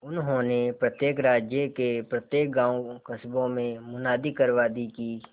उन्होंने प्रत्येक राज्य के प्रत्येक गांवकस्बों में मुनादी करवा दी कि